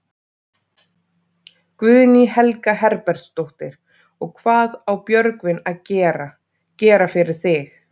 Guðný Helga Herbertsdóttir: Og hvað á Björgvin að gera, gera fyrir þig?